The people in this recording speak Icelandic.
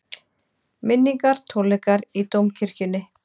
Minningartónleikar í Dómkirkjunni